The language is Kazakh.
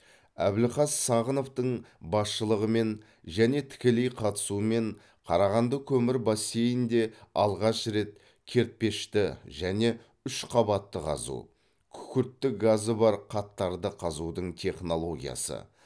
әбілқас сағыновтың басшылығымен және тікелей қатысуымен қарағанды көмір бассейнінде алғаш рет кертпешті және үшқабатты қазу күкіртті газы бар қаттарды қазудың технологиясы